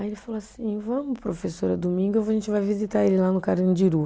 Aí ele falou assim, vamos professora, domingo a gente vai visitar ele lá no Carandiru.